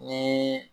Ni